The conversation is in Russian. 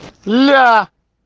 ля